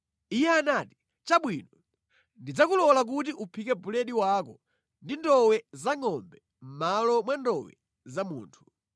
Iye anati, “Chabwino, ndidzakulola kuti uphike buledi wako ndi ndowe za ngʼombe mʼmalo mwa ndowe za munthu.”